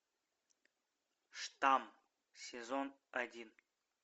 штамм сезон один